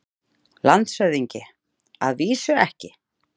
LANDSHÖFÐINGI: Að vísu ekki.